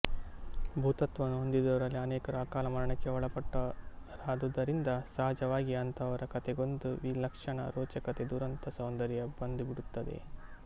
ಭುತತ್ವವನ್ನು ಹೊಂದಿದವರಲ್ಲಿ ಅನೇಕರು ಅಕಾಲ ಮರಣಕ್ಕೆ ಒಳಪಟ್ಟವರಾದುದರಿಂದ ಸಹಜವಾಗಿಯೆ ಅಂಥವರ ಕಥೆಗೊಂದು ವಿಲಕ್ಷಣ ರೋಚಕತೆ ದುರಂತ ಸೌಂದರ್ಯ ಬಂದುಬಿಡುತ್ತದೆ